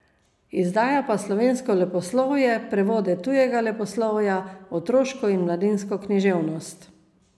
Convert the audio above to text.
Izdaja pa slovensko leposlovje, prevode tujega leposlovja, otroško in mladinsko književnost.